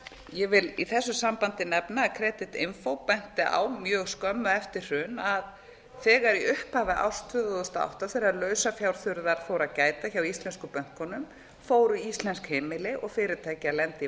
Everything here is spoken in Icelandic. ég vil í þessu sambandi nefna að creditinfo benti á mjög skömmu eftir hrun að þegar í upphafi árs tvö þúsund og átta þegar lausafjárþurrðar fór að gæta hjá íslensku bönkunum fóru íslensk heimili og fyrirtæki að lenda i